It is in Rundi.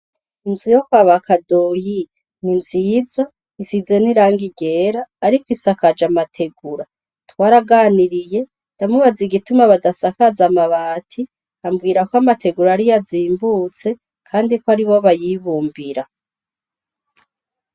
Inzu yo kwaba Kadoyi ni nziza isize nirangi ryera, ariko isakaje amategura twaraganiriye ndamubaze igituma badasakaza amabati, ambwira ko amategura ariyo zimbutse ,kandi ko ari bo bayibumbira.